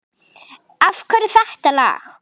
Af hverju þetta lag?